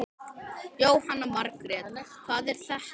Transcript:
Jóhanna Margrét: Hvað er þetta?